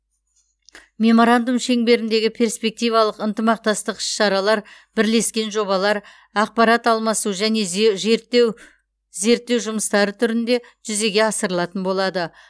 меморандум шеңберіндегі перспективалық ынтымақтастық іс шаралар бірлескен жобалар ақпарат алмасу және зерттеу жұмыстары түрінде жүзеге асырылатын болады